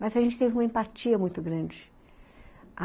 Mas a gente teve uma empatia muito grande.